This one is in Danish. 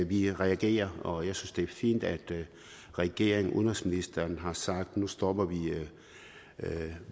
vi reagerer og jeg synes det er fint at regeringen og udenrigsministeren har sagt at nu stopper vi